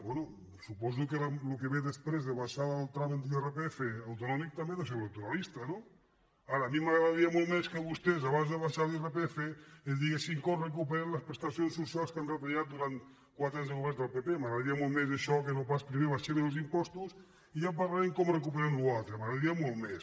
bé suposo que el que ve després d’abaixar el tram en l’irpf autonòmic també deu ser electoralista no ara a mi m’agradaria molt més que vostès abans d’abaixar l’irpf ens diguessin com recuperem les prestacions socials que han retallat durant quatre anys de govern del pp m’agradaria molt més això que no pas primer abaixem els impostos i ja parlarem de com recuperem la resta m’agradaria molt més